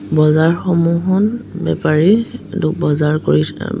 বজাৰসমূহত বেপাৰী দো বজাৰ কৰি উম্ম--